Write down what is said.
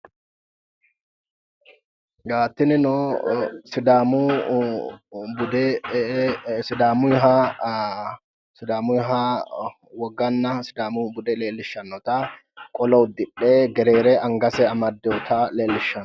Tinino sidaamu bude sidaamuyiha woganna sidaamu bude leellishshannota qolo uddidhe gereere angase amaddiwota leellishshanno.